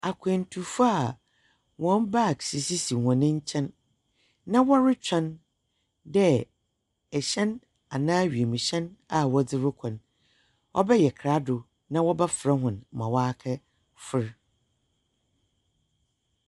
Akwantufo wɔn bags sisi hɔn nkyɛn, na wɔretwɛn dɛ hyɛn anaa wiem hyɛn a wɔdze rekɔ no bɛyɛ krado na wɔbɛfrɛ hɔn ma wɔakɛfor.